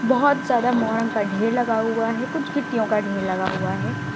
बहुत ज्यादा मौरंग का ढेर लगा हुआ है कुछ गिट्टियों का ढेर लगा हुआ है।